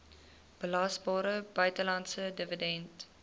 belasbare buitelandse dividend